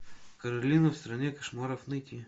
каролина в стране кошмаров найти